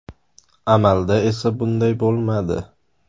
Amalda esa bunday bo‘lmadi .